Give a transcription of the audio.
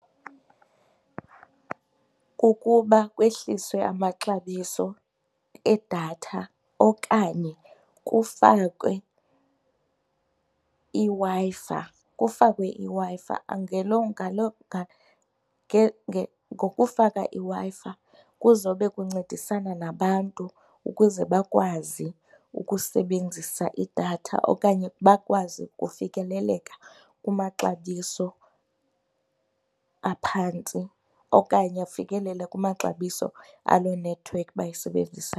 Kukuba kwehliswe amaxabiso edatha okanye kufakwe iWi-Fi, kufakwe iWi-Fi. Ngelo ngaloo ngokufaka iWi-Fi kuzobe kuncedisana nabantu ukuze bakwazi ukusebenzisa idatha okanye bakwazi ukufikeleleka kumaxabiso aphantsi okanye afikelele kumaxabiso aloo nethiwekhi bayisebenzisa.